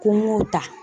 Ko n y'o ta